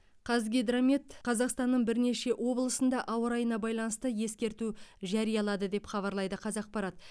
қазгидромет қазақстанның бірнеше облысында ауа райына байланысты ескерту жариялады деп хабарлайды қазақпарат